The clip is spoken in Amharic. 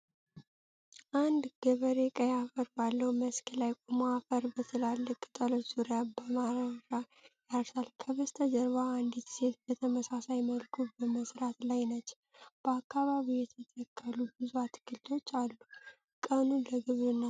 አንድ ገበሬ ቀይ አፈር ባለው መስክ ላይ ቆሞ አፈር በትላልቅ ቅጠሎች ዙሪያ በማረሻ ያርሳል። ከበስተጀርባ አንዲት ሴት በተመሳሳይ መልኩ በመሥራት ላይ ነች። በአካባቢው የተተከሉ ብዙ አትክልቶች አሉ፤ ቀኑ ለግብርና ሥራ ተስማሚ ነው?